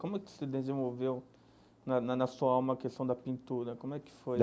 Como é que se desenvolveu na na na sua alma a questão da pintura como é que foi?